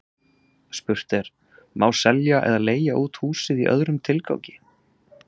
Spurt er: Má selja eða leigja út húsið í öðrum tilgangi?